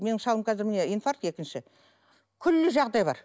менің шалым қазір міне инфаркт екінші күллі жағдай бар